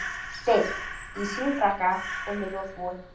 steinn, í síðfrakka og með loðhúfu.